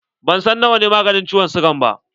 Ban san na wa ne maganin ciwon siga ba.